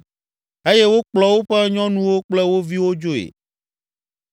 eye wokplɔ woƒe nyɔnuwo kple wo viwo dzoe.